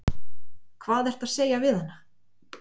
Hvað ertu að segja við hana?